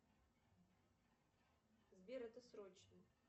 сбер это срочно